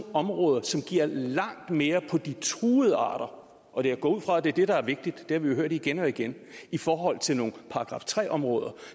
områder som giver langt mere på de truede arter og jeg går ud fra at det er det der er vigtigt det har vi jo hørt igen og igen i forhold til nogle § tre områder